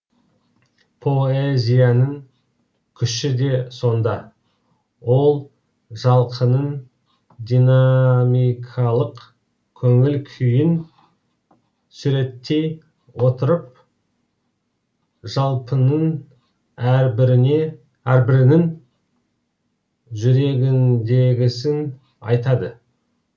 поэзияның күші де сонда ол жалқының динамикалық көңіл күйін суреттей отырып жалпының әрбірінің жүрегіндегісін айтады